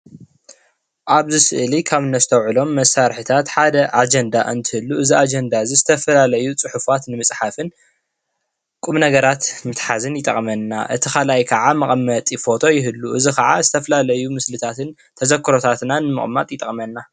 ኣብዚ ስእሊ ካብ ነስተውዕሎም መሳርሒታት ሓደ ኣጀንዳ እንትህሉ እዚ ኣጀንዳ ዝተፈላለዩ ፅሑፋት ንምፅሓፍን ቁምነገራት ምትሓዝን ይጠቕመና። እቲ ካልኣይ ከኣ መቐመጢ ፎቶ ይህሉ እዚ ከኣ ዝተፈላለዩ ምስልታትን ተዘክሮታትናን ምቕማጥ ይጠቕመና።